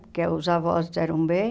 Porque os avós eram bem.